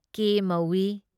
ꯀꯦ ꯃꯧꯏ ꯫